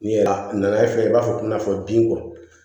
N'i ye a nana ye fɛnɛ i b'a fɔ nafolo bin kɔ